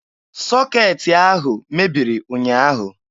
Sọkeetị ahụ mebiri ụnyaahụ.